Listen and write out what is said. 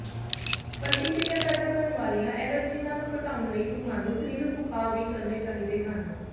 ਪ੍ਰਤੀਕ੍ਰਿਆ ਪੈਦਾ ਕਰਨ ਵਾਲੀਆਂ ਐਲਰਜੀਨਾਂ ਨੂੰ ਘਟਾਉਣ ਲਈ ਤੁਹਾਨੂੰ ਸਰੀਰਕ ਉਪਾਅ ਵੀ ਕਰਨੇ ਚਾਹੀਦੇ ਹਨ